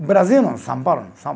O Brasil não, São Paulo não. São